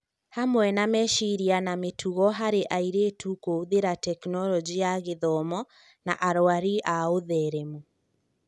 Hamwe na meciria na mĩtugo harĩ airĩtu' kũhũthĩra Tekinoronjĩ ya Gĩthomo, na arũari a ũtheremu